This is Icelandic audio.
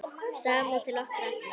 Samúð til okkar allra.